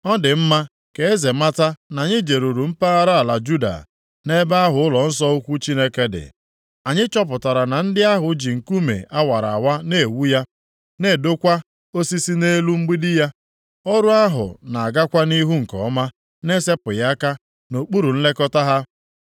Ọ dị mma ka eze mata na anyị jeruru mpaghara ala Juda, nʼebe ahụ ụlọnsọ ukwu Chineke dị. Anyị chọpụtara na ndị ahụ ji nkume a wara awa na-ewu ya, na-edokwa osisi na-elu mgbidi ya. Ọrụ ahụ na-agakwa nʼihu nke ọma na-esepụghị aka nʼokpuru nlekọta ha.